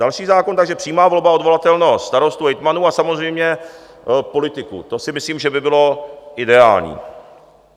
Další zákon, takže přímá volba, odvolatelnost starostů, hejtmanů a samozřejmě politiků, to si myslím, že by bylo ideální.